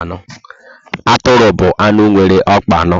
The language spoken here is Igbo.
Atụrụ bụ anụ nwere ọkpa anọ